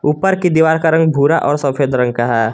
ऊपर कि दीवार का रंग भूरा और सफेद रंग का है।